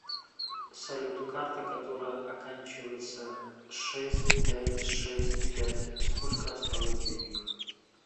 салют карта которая оканчивается шесть пять шесть пять сколько осталось денег